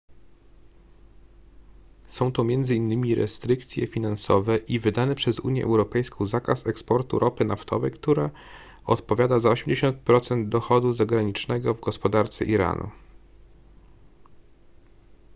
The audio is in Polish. są to m.in restrykcje finansowe i wydany przez unię europejską zakaz eksportu ropy naftowej która odpowiada za 80% dochodu zagranicznego w gospodarce iranu